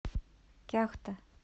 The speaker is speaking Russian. кяхта